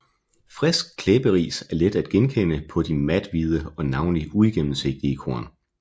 Frisk klæberis er let at genkende på de mathvide og navnlig uigennemsigtige korn